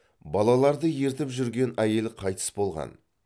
балаларды ертіп жүрген әйел қайтыс болған